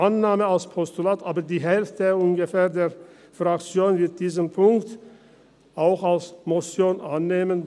Annahme als Postulat, aber ungefähr die Hälfte der Fraktion wird diesen Punkt auch als Motion annehmen.